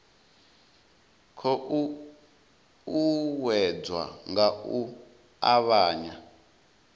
khou uuwedzwa nga u avhanya